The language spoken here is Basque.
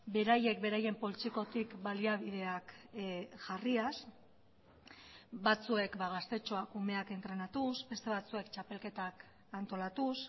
beraiek beraien poltsikotik baliabideak jarriaz batzuek gaztetxoak umeak entrenatuz beste batzuek txapelketak antolatuz